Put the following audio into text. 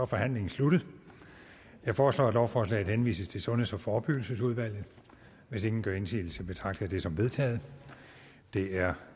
forhandlingen sluttet jeg foreslår at lovforslaget henvises til sundheds og forebyggelsesudvalget hvis ingen gør indsigelse betragter jeg det som vedtaget det er